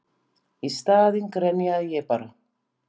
Í staðinn grenjaði ég bara.